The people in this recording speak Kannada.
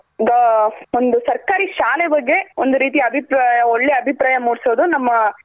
ಒಂದು ಸರ್ಕಾರಿ ಶಾಲೆ ಬಗ್ಗೆ ಒಂದ್ ರೀತಿ ಅಭಿಪ್ರಾಯ ಒಳ್ಳೆ ಅಭಿಪ್ರಾಯ ಮುಡ್ಸೋದು ನಮ್ಮ